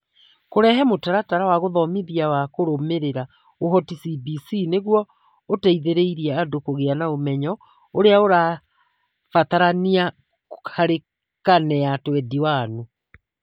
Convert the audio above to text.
Kũrehe Mũtaratara wa Gũthomithia wa Kũrũmĩrĩra Ũhoti (CBC) nĩguo ũteithĩrĩrie andũ kũgĩa na ũmenyo ũrĩa ũrabatarania harĩ Karine ya 21